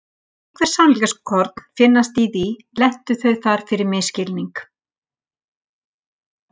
Ef einhver sannleikskorn finnast í því lentu þau þar fyrir misskilning.